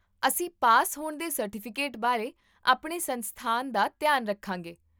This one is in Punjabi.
ਅਸੀਂ ਪਾਸ ਹੋਣ ਦੇ ਸਰਟੀਫਿਕੇਟ ਬਾਰੇ ਆਪਣੇ ਸੰਸਥਾਨ ਦਾ ਧਿਆਨ ਰੱਖਾਂਗੇ